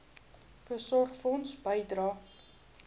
voorsorgfonds bydrae